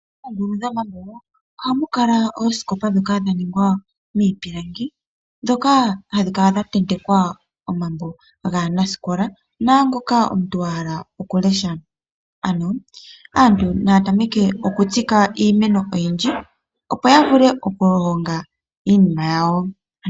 Moongulu dhomatungo ohamu kala oosikopa ndhoka dha ningwa muupilangi ndhoka hadhi kala dha tentekwa omambo gaanasikola naangoka omuntu wahala oku lesha,, Ano aantu Naya tameke okutsika iimeno oyindji opo yavule oku honga iinima yawo.